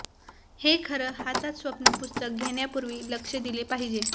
हे खरं हातात स्वप्न पुस्तक घेण्यापूर्वी लक्ष दिले पाहिजे